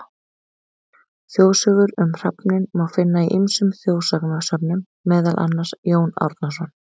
Þjóðsögur um hrafninn má finna í ýmsum þjóðsagnasöfnum, meðal annars: Jón Árnason.